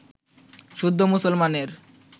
শুদ্ধ মুসলমানের